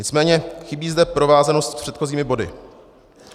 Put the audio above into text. Nicméně chybí zde provázanost s předchozími body.